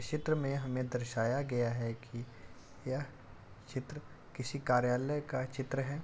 इस चित्र में हमें दर्शाया गया है कि यह चित्र किसी कार्यालय का चित्र है।